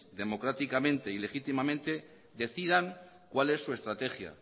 democráticamente y legítimamente decidan cuál es su estrategia